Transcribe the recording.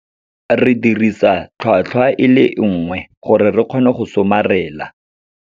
Re dirisa tlhwatlhwa e le nngwe gore re kgone go somarela.